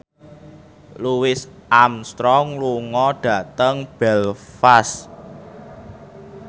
Louis Armstrong lunga dhateng Belfast